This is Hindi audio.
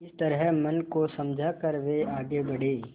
इस तरह मन को समझा कर वे आगे बढ़े